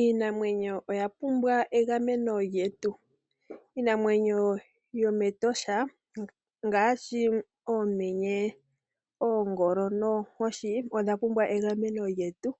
Iinamwenyo oya pumbwa egameno lyetu. Iinamwenyo yomEtosha ngaashi oomenye, oongolo noonkoshi oya pumbwa egameno lyetu